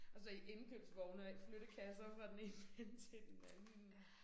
Og så i indkøbsvogne og ikke flyttekasser fra den ene ende til den anden